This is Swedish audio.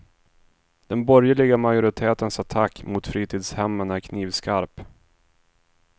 Den borgerliga majoritetens attack mot fritidshemmen är knivskarp.